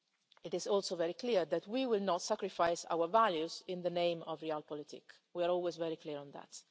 issues. It is also very clear that we will not sacrifice our values in the name of real politics' we are always very clear